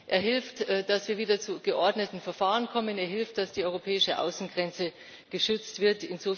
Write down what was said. er hilft, dass wir wieder zu geordneten Verfahren kommen, er hilft, dass die europäische Außengrenze geschützt wird.